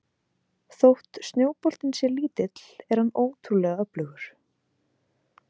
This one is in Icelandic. Þótt snjóboltinn sé lítill er hann ótrúlega öflugur.